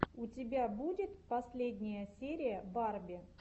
у тебя будет последняя серия барби